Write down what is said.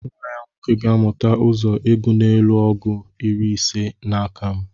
nwa-ya nwoke gāmuta uzọ ịgu n'elu ọgu iri ise n'akam